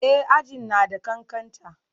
E, aji na da ƙanƙanta.